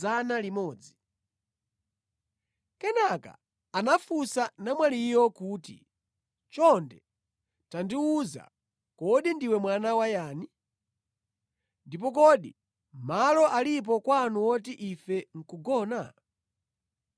Kenaka anafunsa namwaliyo kuti, “Chonde tandiwuza, kodi ndiwe mwana wa yani? Ndipo kodi malo alipo kwanu woti ife nʼkugona?”